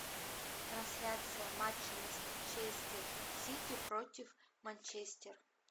трансляция матча манчестер сити против манчестер